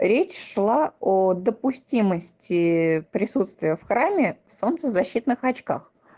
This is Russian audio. речь шла о допустимости присутствия в храме в солнцезащитных очках